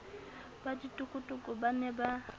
ba ditokotoko ba ne ba